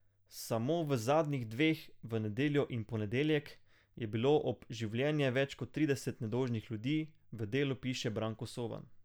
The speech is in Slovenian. Samo v zadnjih dveh, v nedeljo in ponedeljek, je bilo ob življenje več kot trideset nedolžnih ljudi, v Delu piše Branko Soban.